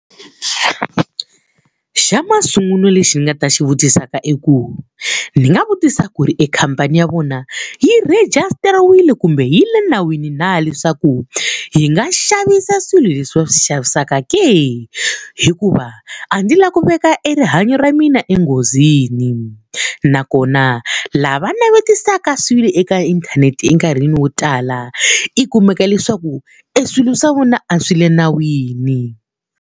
Xa masungulo lexi ni nga ta xi vutisaka i ku ni nga vutisa ku ri ekhamphani ya vona yi rhigistariwile kumbe yi le nawini na leswaku yi nga xavisa swilo leswi va swi xavisaka ke? Hikuva a ndzi lava ku veka e rihanyo ra mina enghozini. Nakona lava navetisaka swilo eka inthanete enkarhini wo tala i kumeka leswaku eswilo swa vona a swi le nawini.